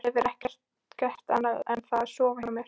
Þú hefur ekki gert annað en að sofa hjá mér.